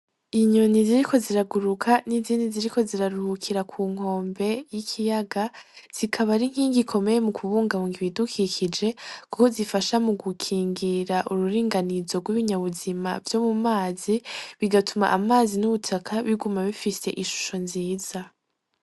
Inyoni ziriko ziraguruka n'izindi ziriko ziraruhukira ku nkombe y'ikiyaga, zikaba ar'inkingi ikomeye mu kubungabunga ibidukikije kuko zifasha gukingira ururunganizo rw'ibinyabuzima vyo mu mazi, bigatuma amazi n'ubutaka biguma bifise ishusho nziza.